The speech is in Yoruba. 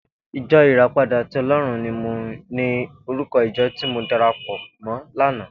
Ijò iràpádà ti Òlòrún ni órúkò ijò ti mó dàrápò mò làná